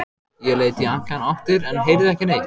Ég leit í allar áttir en heyrði ekki neitt.